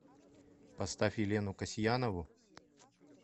поставь елену касьянову